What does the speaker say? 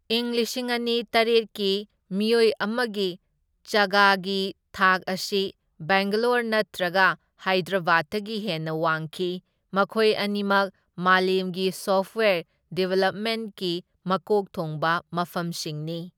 ꯏꯪ ꯂꯤꯁꯤꯡ ꯑꯅꯤ ꯇꯔꯦꯠꯀꯤ ꯃꯤꯑꯣꯏ ꯑꯃꯒꯤ ꯆꯥꯒꯥꯒꯤ ꯊꯥꯛ ꯑꯁꯤ ꯕꯦꯡꯒ꯭ꯂꯣꯔ ꯅꯠꯇ꯭ꯔꯒ ꯍꯥꯏꯗ꯭ꯔꯕꯥꯗꯇꯒꯤ ꯍꯦꯟꯅ ꯋꯥꯡꯈꯤ, ꯃꯈꯣꯏ ꯑꯅꯤꯃꯛ ꯃꯥꯂꯦꯝꯒꯤ ꯁꯣꯐ꯭ꯠꯋ꯭ꯌꯔ ꯗꯤꯕꯦꯂꯞꯃꯦꯟꯠꯀꯤ ꯃꯀꯣꯛ ꯊꯣꯡꯕ ꯃꯐꯝꯁꯤꯡꯅꯤ꯫